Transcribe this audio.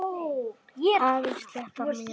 Aðeins sléttar mýrar.